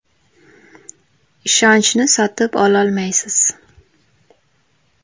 “Ishonchni sotib ololmaysiz.